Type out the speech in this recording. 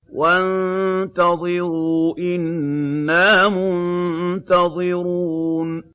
وَانتَظِرُوا إِنَّا مُنتَظِرُونَ